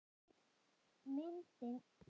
Myndin verður sýnd á sunnudaginn.